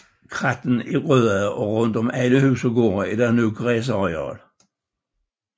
Krattene er ryddede og rundt om alle huse og gårde er der nu græsarealer